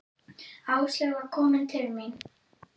Áslaug var komin til mín.